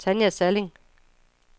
Tanja Salling